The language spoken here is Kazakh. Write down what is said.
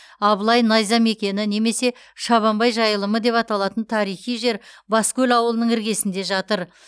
абылай найза мекені немесе шабанбай жайылымы деп аталатын тарихи жер баскөл ауылының іргесінде жатыр